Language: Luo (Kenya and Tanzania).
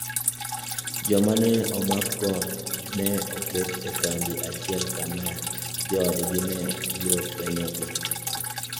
Joma ne omakgo ne oket e kambi achiel, kama joodgi ne biro fwenyogi.